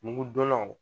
Mugudonnaw